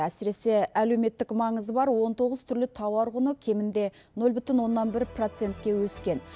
әсіресе әлеуметтік маңызы бар он тоғыз түрлі тауар құны кемінде нөл бүтін оннан бір процентке өскен